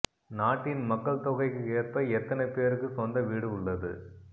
நாட்டின் மக்கள் தொகைக்கு ஏற்ப எத்தனை பேருக்கு சொந்த வீடு உள்ளது